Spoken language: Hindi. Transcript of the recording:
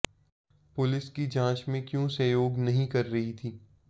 पुलिस की जांच में क्यों सहयोग नहीं कर रही थी